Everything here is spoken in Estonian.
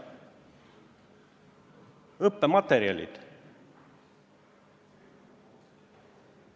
Õppematerjalid!